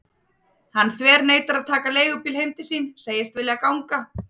Hann þverneitar að taka leigubíl heim til sín, segist vilja ganga.